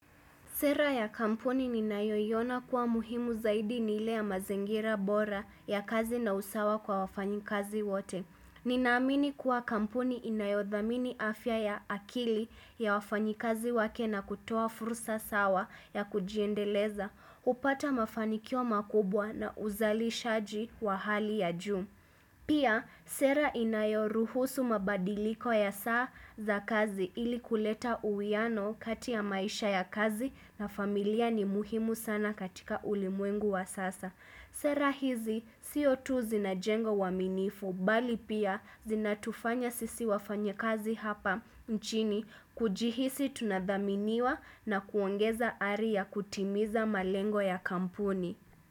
Sera ya kampuni ninayoiona kuwa muhimu zaidi ni ile ya mazingira bora ya kazi na usawa kwa wafanyikazi wote. Nina amini kuwa kampuni inayodhamini afya ya akili ya wafanyikazi wake na kutoa fursa sawa ya kujiendeleza, hupata mafanikio makubwa na uzalishaji wa hali ya juu. Pia, sera inayoruhusu mabadiliko ya saa za kazi ili kuleta uwiano kati ya maisha ya kazi na familia ni muhimu sana katika ulimwengu wa sasa. Sera hizi, sio tu zinajenga uaminifu, bali pia zinatufanya sisi wafanyakazi hapa nchini, kujihisi tunadhaminiwa na kuongeza ari ya kutimiza malengo ya kampuni.